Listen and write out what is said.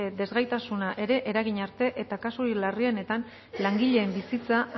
desgaitasuna ere eragin arte eta kasurik larrienetan langileen bizitza